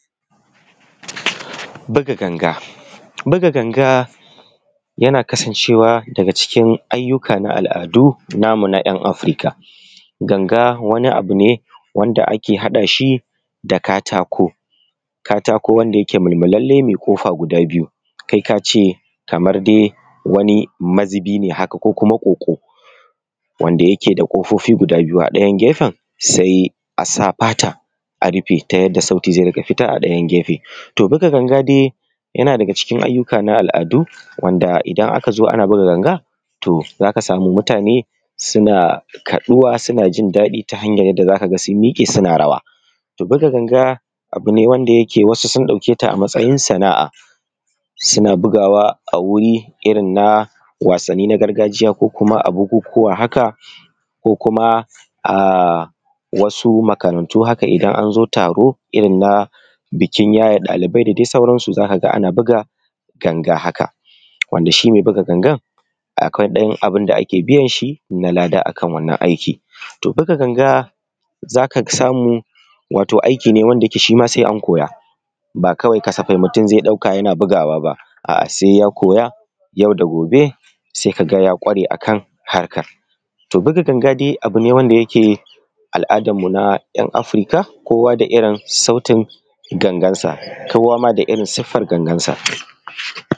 Buga ganga, buga ganga yana kasancewa daga cikin ayyuka na al'adu namu na 'yan Afirka. Ganga wani abu wanda ake haɗa shi da katako wanda yake mulmulalle mai kofa guda biyu kai ka ce kamar dai wani mazubi ne haka kuma kwokwo wanda yake da kofofi gida biyu, wanda a ɗayan gefen a sa fata a rufe ta yadda sauti zai riƙa fita a ɗayan gefen. Buga ganga dai yana daga cikin ayyuka na al'adu, wanda idan aka zo ana buga ganga To za ka samu mutane suna zuwa suna jin daɗi ta hanyar yadda za ka ga suna rawa. Buga ganga abu ne wanda yake wasu sun ɗauke ta a matsayin sana'a, suna bugawa a euri irin na wasanni na gargajiya ko a bukukuwa haka. Ko kuma a wasu makarantu haka idan an zo taron bikin yaye ɗalibai da dai sauransu za ka ga ana buga ganga haka. Wanda shi dai mai buga gangan akwai ɗan abun da ake biyan shi na lada akan wannan aikin. To buga ganga za ka samu wannan aiki ne wanda shi ma sai an koya ba kawai kasafai mutum zai ɗauka yana bugawa ba, a'a sai ya koya yau da gobe sai ka ga ya ƙware akan harkar. Buga ganga dai abu ne wanda yake al'adarnu na 'yan Afirka kowa da irin sautin gangansa kowa ma da irin sifar gangansa.